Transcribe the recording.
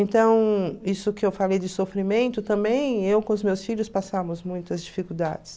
Então, isso que eu falei de sofrimento, também eu com os meus filhos passamos muitas dificuldades.